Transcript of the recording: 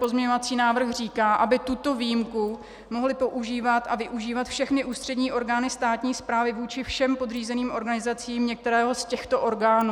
Pozměňovací návrh říká, aby tuto výjimku mohly používat a využívat všechny ústřední orgány státní správy vůči všem podřízeným organizacím některého z těchto orgánů.